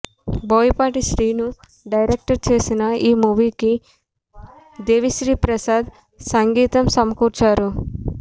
Boyapati Srinu direct చేసిన ఈ మూవీకి దేవి శ్రీప్రసాద్ సంగీతం సమకూర్చారు